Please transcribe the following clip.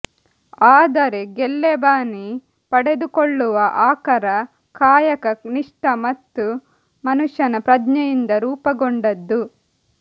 ಆದರೆ ಗಲ್ಲೆಬಾನಿ ಪಡೆದುಕೊಳ್ಳುವ ಆಕರ ಕಾಯಕ ನಿಷ್ಠ ಮತ್ತು ಮನುಷ್ಯನ ಪ್ರಜ್ಞೆಯಿಂದ ರೂಪಗೊಂಡದ್ದು